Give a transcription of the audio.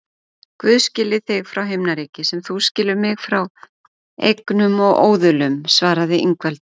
Guð skilji þig frá himnaríki sem þú skilur mig frá eignum og óðulum, svaraði Ingveldur.